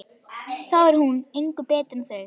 Þá er hún engu betri en þau.